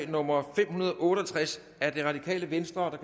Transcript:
nummer fem hundrede og otte og tres af rv der kan